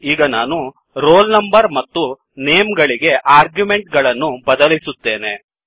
ಈಗ ನಾನು roll number ಮತ್ತುnameಗಳಿಗೆ ಆರ್ಗ್ಯುಮೆಂಟ್ ಗಳನ್ನು ಬದಲಿಸುತ್ತೇನೆ